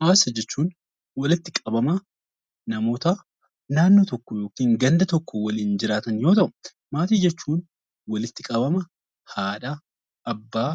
Hawaasa jechuun walitti qabama naannoo tokko yookiin ganda tokko waliin jiraatan yoo ta'u; Maatii jechuun walitti qabama Haadha, Abbaa,